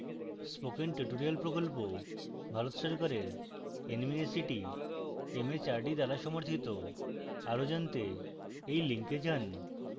spoken tutorial প্রকল্প ভারত সরকারের nmeict mhrd দ্বারা সমর্থিত